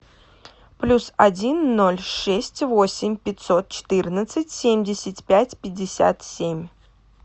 плюс один ноль шесть восемь пятьсот четырнадцать семьдесят пять пятьдесят семь